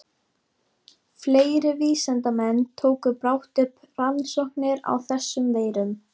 Fleiri vísindamenn tóku brátt upp rannsóknir á þessum veirum.